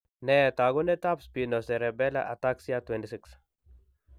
Nee taakunetaab Spinocerebellar ataxia 26?